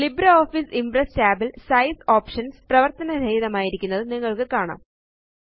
LibreOffice Impress tab ല് size options പ്രവര്ത്തനരഹിതമാക്കിയിരിക്കുന്നത് നിങ്ങള്ക്ക് കാണാം